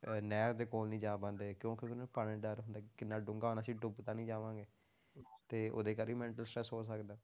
ਅਹ ਨਹਿਰ ਦੇ ਕੋਲ ਨੀ ਜਾ ਪਾਉਂਦੇ ਕਿਉਂਕਿ ਉਹਨਾਂ ਨੂੰ ਪਾਣੀ ਦਾ ਡਰ ਹੁੰਦਾ ਕਿੰਨਾ ਡੂੰਘਾ ਆ ਅਸੀਂ ਡੁੱਬ ਤਾਂ ਨੀ ਜਾਵਾਂਗੇ ਤੇ ਉਹਦੇ ਕਰਕੇ ਵੀ mental stress ਹੋ ਸਕਦਾ ਹੈ,